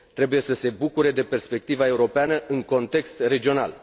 Trebuie să se bucure de perspectiva europeană în context regional.